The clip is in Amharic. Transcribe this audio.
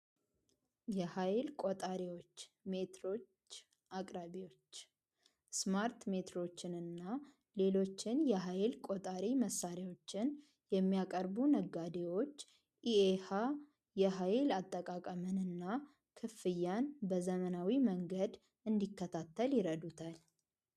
የሀይል ቆጣቢዎች አቅራቢዎች ሜትሮች ስማርት ሜትሮች እና ሌሎችም የሀይል ቆጣቢ መሳሪያዎችን የሚያቀርቡ ነጋዴዎች ኢኤሀ የሀይል አጠቃቀምን እና ክፍያን በዘመናዊ መንገድ እንዲከታተል ይረዱታል።